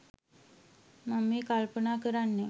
මං මේ කල්පනා කරන්නේ